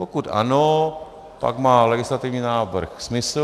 Pokud ano, pak má legislativní návrh smysl.